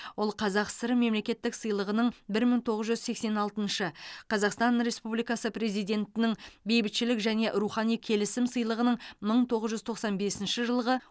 ол қазақ сср мемлекеттік сыйлығының бір мың тоғыз жүз сексен алтыншы қазақстан республикасы президентінің бейбітшілік және рухани келісім сыйлығының мың тоғыз жүз тоқсан бесінші жылғы